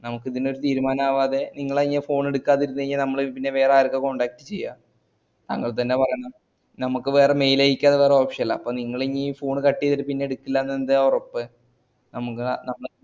നമക്ക് ഇതിനൊരു തീരുമാനാകാതെ നിങ്ങൾ അയ്യ phone എടുക്കാതിരുന്നാ നമ്മള് പിന്നെ വേറെ ആർക്കാ contact ചെയ്യാ അങ്ങാൻതന്നേ പറയണേ നമക്ക് വേറെ mail അയക്കാതെ വേറേ option ല്ല അപ്പൊ നിങ്ങളിനി phone cut ഈതിട്ട് പിന്നട്ക്കുല എന്നതിന്ന്ത ഒറപ്പ് നമക്